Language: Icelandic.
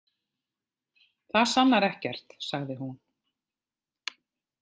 Það sannar ekkert, sagði hún.